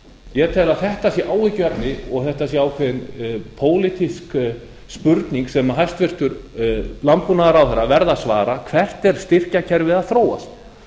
ég tel að þetta sé áhyggjuefni og þetta sé ákveðin pólitísk spurning sem hæstvirtur landbúnaðarráðherra verði að svara hvert er styrkjakerfið að þróast